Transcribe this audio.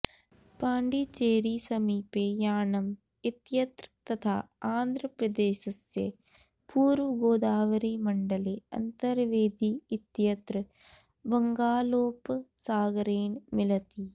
पाण्डीचेरीसमीपे याणम् इत्यत्र तथा आन्ध्रप्रदेशस्य पूर्वगोदावरीमण्डले अन्तर्वेदी इत्यत्र बङ्गालोपसागरेण मिलति